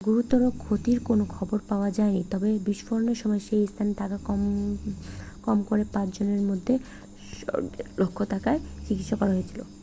গুরুতর ক্ষতির কোন খবর পাওয়া যায়নি তবে বিস্ফোরণের সময় সেই স্থানে থাকা কম করে পাঁচ জনের মধ্যে শকের লক্ষণ থাকার জন্য চিকিৎসা করা হয়েছিল